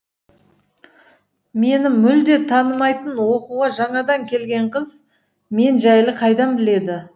мені мүлде танымайтын оқуға жаңадан келген қыз мен жайлы қайдан біледі